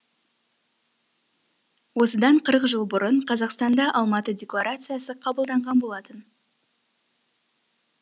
осыдан қырық жыл бұрын қазақстанда алматы декларациясы қабылданған болатын